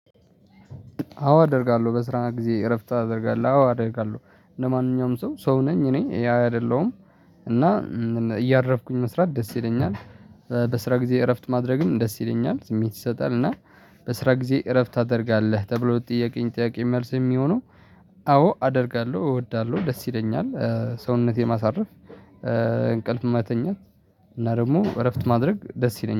አዎ አደርጋለሁ በስራና ጊዜ እረፍት አደርጋለሁ አዎ አደርጋለሁ ለማንኛውም ሰው ሰው ነኝ እኔ ያ አይደለሁም። እና እያረፍኩኝ መስራት ደስ ይለኛል። በስራ ጊዜ እረፍት ማድረግም ደስ ይለኛል ስሜት ይሰጣል። እና በስራ ጊዜ እረፍት ታደርጋለህ ተብሎ ለተጠየኩት ጥያቄ መልስ የሚሆነው። አዎ አደርጋለሁ እወዳለሁ ደስ ይለኛል ሰውነቴ ማሳረፍ እንቅልፍ ማተኛት። እና ደግሞ እረፍት ማድረግ ደስ ይለኛል